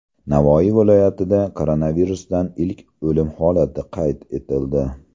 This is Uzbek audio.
Navoiy viloyatida koronavirusdan ilk o‘lim holati qayd etildi.